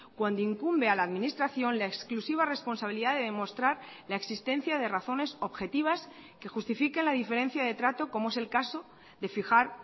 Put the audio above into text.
cuando incumbe a la administración la exclusiva responsabilidad de demostrar la existencia de razones objetivas que justifiquen la diferencia de trato como es el caso de fijar